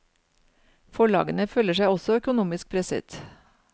Forlagene føler seg også økonomisk presset.